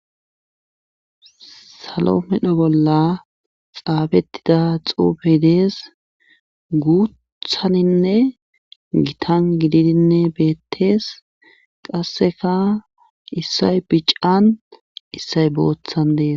Slo medho bolla xaafettida xuufey dees guuthaninne gitan gididi beettees qasseka issay bican issay boothan dees.